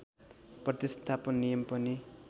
प्रतिस्थापन नियम पनि